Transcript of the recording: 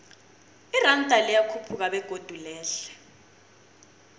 iranda liyakhuphuka begodu lehle